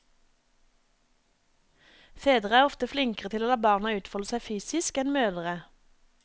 Fedre er ofte flinkere til å la barna utfolde seg fysisk enn mødre.